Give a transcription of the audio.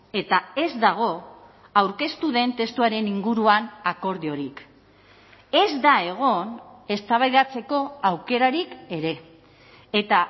eta ez dago aurkeztu den testuaren inguruan akordiorik ez da egon eztabaidatzeko aukerarik ere eta